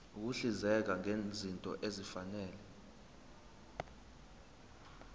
ukuhlinzeka ngezinto ezifanele